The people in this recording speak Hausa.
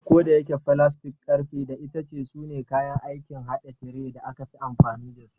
Kodayake, filastik, ƙarfe, da itace sune kayan aikin haɗa tire da aka fi amfani da su.